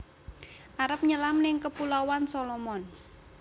Arep nyelam ning Kepulauan Solomon